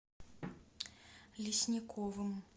лесниковым